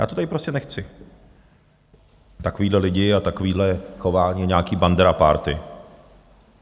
Já to tady prostě nechci, takovéhle lidi a takovéhle chování, nějaká Bandera party.